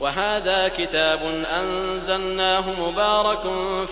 وَهَٰذَا كِتَابٌ أَنزَلْنَاهُ مُبَارَكٌ